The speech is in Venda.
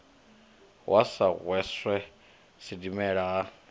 wa sa hweswe sidimela ha